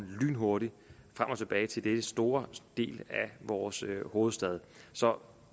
lynhurtigt frem og tilbage til en stor del af vores hovedstad så